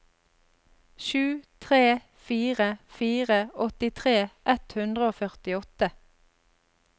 sju tre fire fire åttitre ett hundre og førtiåtte